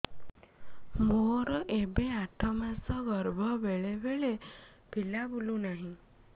ମୋର ଏବେ ଆଠ ମାସ ଗର୍ଭ ବେଳେ ବେଳେ ପିଲା ବୁଲୁ ନାହିଁ